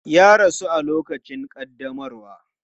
Ya rasu a lokacin ƙaddamarwa.